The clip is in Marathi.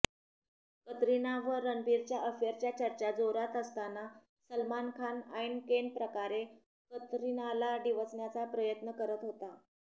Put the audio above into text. कतरिना व रणबीरच्या अफेअरच्या चर्चा जोरात असताना सलमान खान ऐनकेनप्रकारे कतरिनाला डिवचण्याचा प्रयत्न करत होता